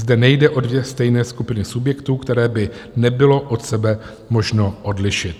Zde nejde o dvě stejné skupiny subjektů, které by nebylo od sebe možno odlišit.